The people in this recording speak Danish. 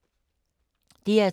DR2